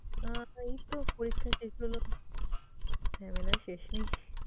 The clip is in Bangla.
আহ এইতো পরীক্ষা শেষ হল, ঝামেলা শেষমেশ।